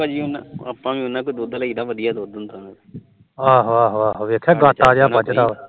ਆਹੋ ਆਹੋ ਦੇਖਿਆ ਗਾਟਾ ਜਿਹਾ ਵੱਝਦਾ ਆ